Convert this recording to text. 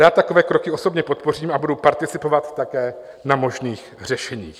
Rád takové kroky osobně podpořím a budu participovat také na možných řešeních.